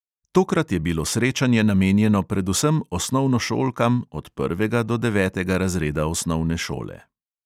Tokrat je bilo srečanje namenjeno predvsem osnovnošolkam od prvega do devetega razreda osnovne šole.